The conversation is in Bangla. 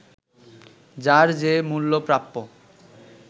যার যে মূল্য প্রাপ্য